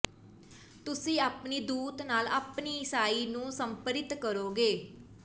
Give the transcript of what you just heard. ਤੁਸੀਂ ਆਪਣੀ ਦੂਤ ਨਾਲ ਆਪਣੀ ਈਸਾਈ ਨੂੰ ਸਮਰਪਿਤ ਕਰੋਗੇ